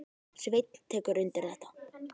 Sveinn tekur undir þetta.